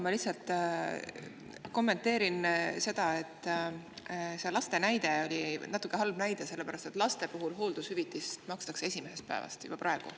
Ma lihtsalt kommenteerin, et see laste näide oli natuke halb näide, sellepärast et laste puhul makstakse hooldushüvitist esimesest päevast juba praegu.